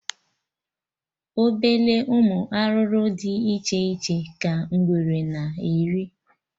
Obele ụmụ arụrụ dị iche iche ka ngwere na-eri